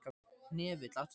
Hnefill, áttu tyggjó?